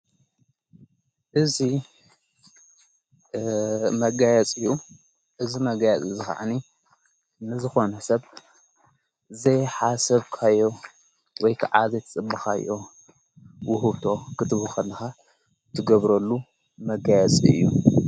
እዙይ መጋያጽ እዩ እዝ መጋያፅ ዝኸዕኒ ንዝኾኑሕሰብ ዘይሓሰብካዮ ወይ ከዓዘት ጽምኻዮ ውህቶ ኽትብኸን ትገብረሉ መጋያጽ እዩ።